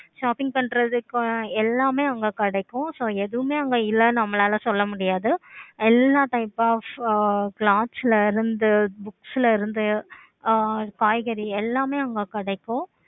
shopping பண்றதுக்கு எல்லாமே அங்க கிடைக்கும். so ஏதுவுமே அங்க இல்லை நம்மளால சொல்ல முடியாது. எல்லா type of ல இருந்து books ல இருந்து ஆஹ் காய்கறி எல்லாமே அங்க கிடைக்கும்.